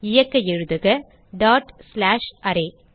இயக்க எழுதுக dot slash array